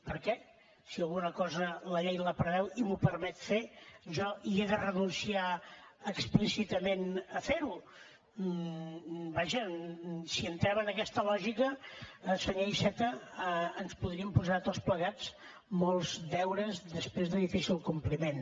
per què si alguna cosa la llei la preveu i m’ho permet fer jo hi de renunciar explícitament a fer ho vaja si entrem en aquesta lògica senyor iceta ens podríem posar tots plegats molts deures després de difícil compliment